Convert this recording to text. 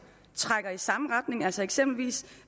trækker i samme retning altså eksempelvis